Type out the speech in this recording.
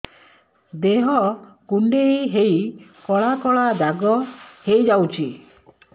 ଦେହ କୁଣ୍ଡେଇ ହେଇ କଳା କଳା ଦାଗ ହେଇଯାଉଛି